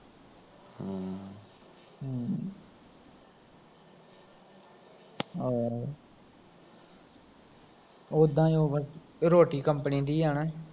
ਓਦਾ ਓਵਰ ਰੋਟੀ company ਦੀ ਆ ਨਾ